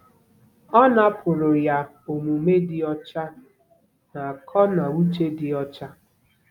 Ọ napụrụ ya omume dị ọcha na akọ na uche dị ọcha.